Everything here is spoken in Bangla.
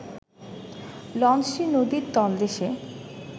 লঞ্চটি নদীর তলদেশে